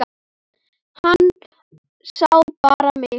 Hann sá bara mig!